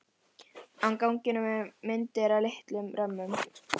Á ganginum eru myndir í litlum römmum.